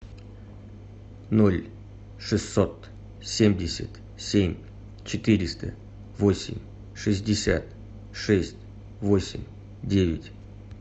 ноль шестьсот семьдесят семь четыреста восемь шестьдесят шесть восемь девять